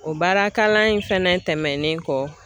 O baara kalan in fɛnɛ tɛmɛnen kɔ.